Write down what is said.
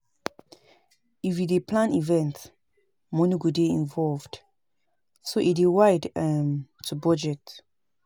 If you dey plan event, money go dey involved so e dey wide um to budget